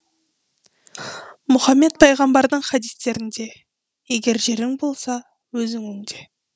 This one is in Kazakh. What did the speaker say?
мұхаммед пайғамбардың хадистерінде егер жерің болса өзің өңде